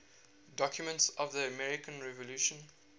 documents of the american revolution